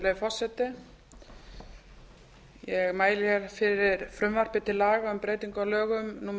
virðulegi forseti ég mæli hér fyrir frumvarpi til laga um breytingu á lögum númer